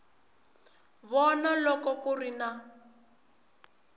vona loko ku ri na